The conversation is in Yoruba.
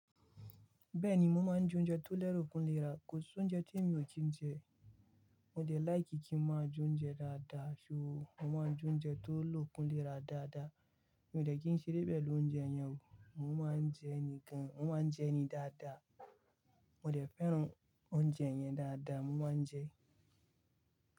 Bẹ́ẹ̀ni, mo máa ń jẹ oúnjẹ tó lẹ́rò kun léra. Ko si oúnjẹ tí mi ò kí ń jẹ. Mo dẹ̀ like kí ń máa jẹ oúnjẹ dáadáa, ṣo. Mo máa ń jẹ oúnjẹ tó lókun lè rà dáadáa. Mi ò dẹ̀ kí ń ṣeré pẹ̀lú oúnjẹ yẹn o. Mo máa ń jẹ ní gan, mo máa ń jẹ ní dáadáa. Mo dẹ̀ fẹ́ràn oúnjẹ yẹn dáadáa, mo máa ń jẹ ẹ́